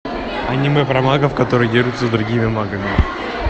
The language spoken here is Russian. аниме про магов которые дерутся с другими магами